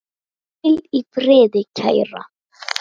Hvíl í friði, kæra.